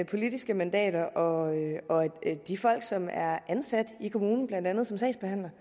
politiske mandater og de folk som er ansat i kommunen blandt andet som sagsbehandlere